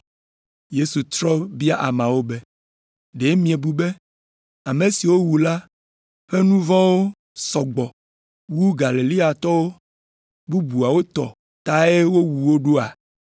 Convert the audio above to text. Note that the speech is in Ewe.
Yesu trɔ bia ameawo be, “Ɖe miebu be ame siwo wowu la ƒe nu vɔ̃wo sɔ gbɔ wu Galileatɔ bubuwo tɔ tae wowu wo ɖoa?